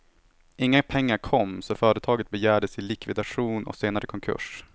Inga pengar kom, så företaget begärdes i likvidation och senare konkurs.